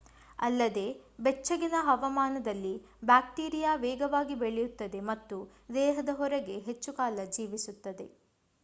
ಅಲ್ಲದೆ ಬೆಚ್ಚಗಿನ ಹವಾಮಾನದಲ್ಲಿ ಬ್ಯಾಕ್ಟೀರಿಯಾ ವೇಗವಾಗಿ ಬೆಳೆಯುತ್ತದೆ ಮತ್ತು ದೇಹದ ಹೊರಗೆ ಹೆಚ್ಚು ಕಾಲ ಜೀವಿಸುತ್ತದೆ